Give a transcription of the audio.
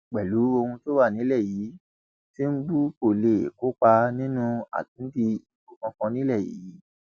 pẹlú ohun tó wà nílẹ yìí tìǹbù kó lè kópa nínú àtúndì ìbò kankan nílẹ yìí